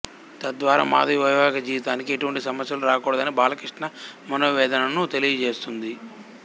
తద్వారా మాధవి వైవాహిక జీవితానికి ఎటువంటి సమస్యలు రాకూడదని బాలకృష్ణ మనోవేదనను తెలియజేస్తుంది